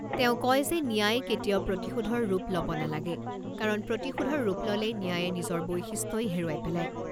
তেওঁ কয় যে ন্যায় কেতিয়াও প্ৰতিশোধৰ ৰূপ ল'ব নালাগে, কাৰণ প্ৰতিশোধৰ ৰূপ ল'লে ন্যায়ে নিজৰ বৈশিষ্ট্যই হেৰুৱাই পেলায়।